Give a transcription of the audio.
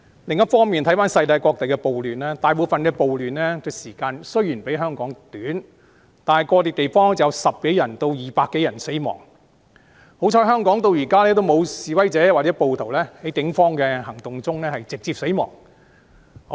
另一方面，綜觀世界各地的暴亂，大部分地方的暴亂時間雖然比香港短，但個別地方有10多人至200多人死亡，幸好香港至今沒有示威者或暴徒在警方的行動中直接死亡。